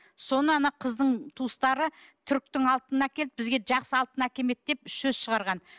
соны ана қыздың туыстары түріктің алтынын әкеліп бізге жақсы алтын әкелмеді деп сөз шығарған